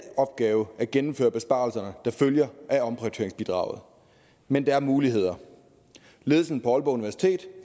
opgave at gennemføre besparelserne der følger af omprioriteringsbidraget men der er muligheder ledelsen på aalborg universitet